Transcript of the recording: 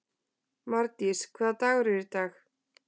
Mardís, hvaða dagur er í dag?